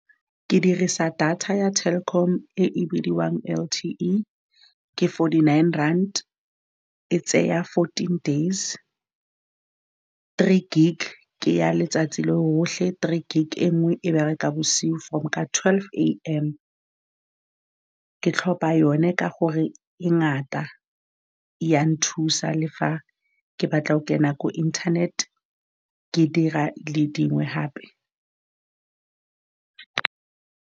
Ke dirisa data ya Telkom e e bidiwang L_T_E, ke forty-nine rand e tseya fourteen days, three gig. Ke ya letsatsi lo lotlhe, three gig e nngwe e bereka bosigo from ka twelve A_M. Ke tlhopa yone ka gore e ngata ya nthusa, le fa ke batla go kena ko internet-e ke dira le dingwe hape.